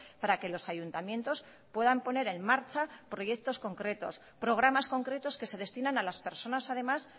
para que los ayuntamientos puedan poner en marcha proyectos concretos programas concretos que se destinan a las personas además